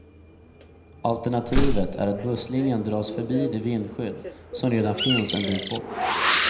Alternativet är att busslinjen dras förbi det vindskydd som redan finns en bit bort.